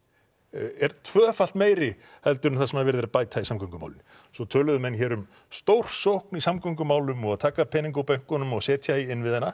er tvöfalt meiri en það sem er verið að bæta í samgöngumálin svo töluðu menn hér um stórsókn í samgöngumálum og taka pening úr bönkunum og setja í innviðina